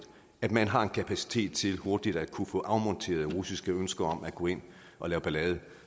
at man har en kapacitet til hurtigt at kunne få afmonteret russiske ønsker om at gå ind og lave ballade